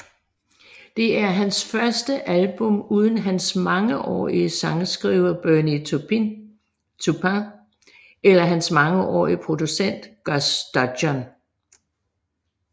Det er hans første album uden hans mangeårige sangskriver Bernie Taupin eller hans mangeårige producent Gus Dudgeon